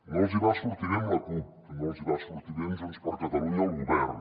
no els hi va sortir bé amb la cup no els hi va sortir bé amb junts per catalunya al govern